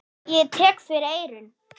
Ég tek fyrir eyrun.